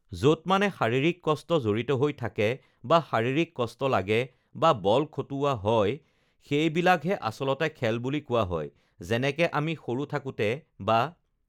য'ত মানে শাৰীৰিক কষ্ট জড়িত হৈ থাকে বা শাৰীৰিক কষ্ট লাগে বা বল খটুৱা হয় সেইবিলাকহে আচলতে খেল বুলি uhh কোৱা হয় যেনেকে আগতে আমি সৰু থাকোতে বা